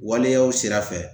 Waleyaw sira fɛ